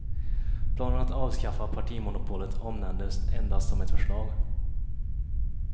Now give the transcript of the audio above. Planen att avskaffa partimonopolet omnämndes endast som ett förslag.